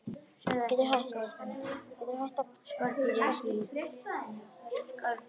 Og með mér vaknar grunur.